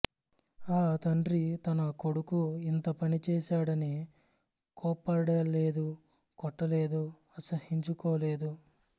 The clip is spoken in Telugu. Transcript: ఆ తండ్రి తన కొడుకు ఇంత పనిచేశాడని కోప్పడలేదు కొట్టలేదు అసహ్యించు కోలేదు